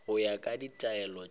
go ya ka ditaelo tša